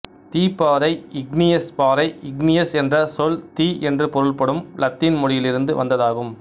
தீப்பாறை igneous பாறை igneous என்ற சொல் தீ என்று பொருள்படும் இலத்தீன் மொழியில் இருந்து வந்ததாகும்